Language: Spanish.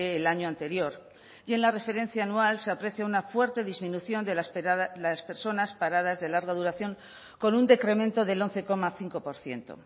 el año anterior y en la referencia anual se aprecia una fuerte disminución de las personas paradas de larga duración con un decremento del once coma cinco por ciento